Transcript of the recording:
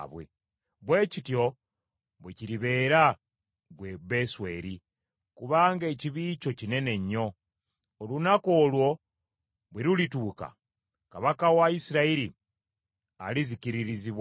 Bwe kityo bwe kiribeera, ggwe Besweri kubanga ekibi kyo kinene nnyo. Olunaku olwo bwe lulituuka, kabaka wa Isirayiri alizikiririzibwa ddala.